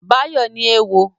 Báyọ̀ ní éwo